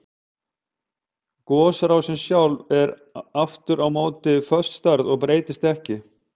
Gosrásin sjálf er aftur á móti föst stærð og breytist ekki.